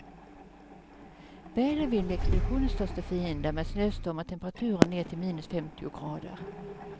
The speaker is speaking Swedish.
Väder och vind blir expeditionens största fiender, med snöstormar och temperaturer ner till minus femtio grader.